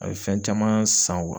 A be fɛn caman san